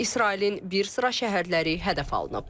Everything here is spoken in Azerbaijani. İsrailin bir sıra şəhərləri hədəf alınıb.